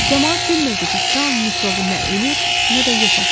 Camaat bilmirdi ki, taun mikrobu nə ölür, nə də yoxa çıxır.